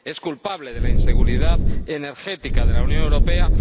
es culpable de la inseguridad energética de la Unión Europea